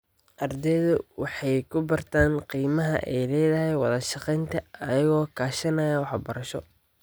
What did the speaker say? Ardeyda waxay ku bartaan qiimaha ay leedahay wada shaqaynta iyagoo kaashanaya wax barasho.